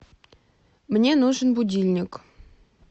мне нужен будильник